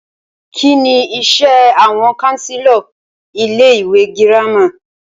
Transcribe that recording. Kínní iṣé àwọn counselor ilé ìwé gírámà?